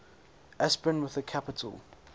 aspirin with a capital